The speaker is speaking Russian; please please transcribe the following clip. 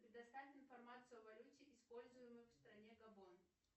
предоставь информацию о валюте используемую в стране габон